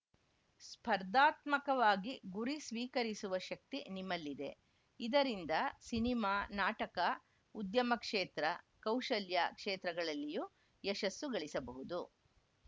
ಸ್ಪರ್ಧಾತ್ಮಕವಾಗಿ ಗುರಿ ಸ್ವೀಕರಿಸುವ ಶಕ್ತಿ ನಿಮ್ಮಲ್ಲಿದೆ ಇದರಿಂದ ಸಿನಿಮಾ ನಾಟಕ ಉದ್ಯಮ ಕ್ಷೇತ್ರ ಕೌಶಲ್ಯ ಕ್ಷೇತ್ರಗಳಲ್ಲಿಯೂ ಯಶಸ್ಸು ಗಳಿಸಬಹುದು